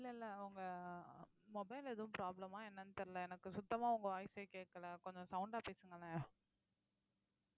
இல்ல இல்ல உங்க mobile எதுவும் problem ஆ என்னன்னு தெரியலை எனக்கு சுத்தமா உங்க voice ஏ கேட்கலை கொஞ்சம் sound ஆ பேசுங்களேன்